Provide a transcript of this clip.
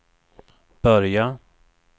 börja